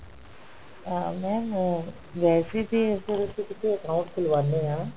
ਅਹ mam ਅਹ ਵੈਸੇ ਵੀ ਅਸੀਂ ਜਦੋਂ ਕਿਤੇ account ਖ਼ੁਲਵਾਉਂਦੇ ਹਾਂ